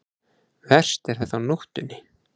Verst er þetta á nóttunni.